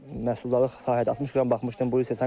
Məhsuldarlıq sahədə 60 qram baxmışdım.